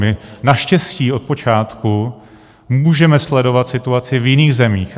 My naštěstí od počátku můžeme sledovat situaci v jiných zemích.